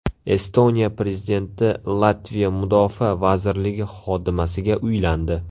Estoniya prezidenti Latviya mudofaa vazirligi xodimasiga uylandi.